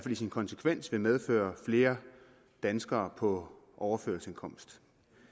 i sin konsekvens vil medføre flere danskere på overførselsindkomst